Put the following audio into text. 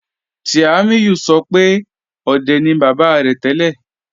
Tiamiyu sọ̀ pẹ̀ ọ̀dẹ̀ ni baba rẹ̀ tẹlẹ́.